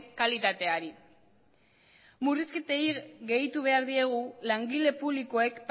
kalitateari murrizketei gehitu behar diegu langile publikoek